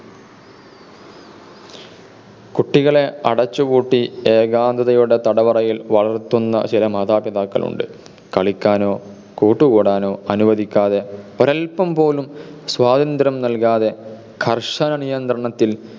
കുട്ടികളെ അടച്ചു പൂട്ടി ഏകാന്തതയുടെ തടവറയിൽ വളർത്തുന്ന ചില മാതാപിതാക്കളുണ്ട്. കളിക്കാനോ കൂട്ടുകൂടാനോ അനുവദിക്കാതെ ഒരൽപം പോലും സ്വാതന്ത്ര്യം നൽകാതെ കർശന നിയന്ത്രണത്തിൽ